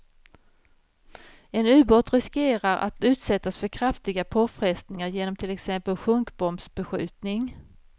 En ubåt riskerar att utsättas för kraftiga påfrestningar genom till exempel sjunkbombsbeskjutning.